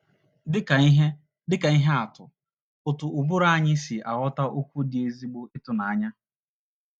Dị ka ihe Dị ka ihe atụ, otú ụbụrụ anyị si aghọta okwu dị ezigbo ịtụnanya.